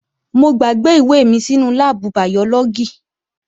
Mo gbàgbé ìwé mi sínú láàbù bàyọ́lọ́gì